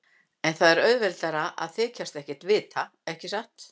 En það er auðveldara að þykjast ekkert vita, ekki satt.